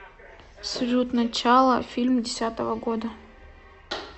салют начало фильм десятого года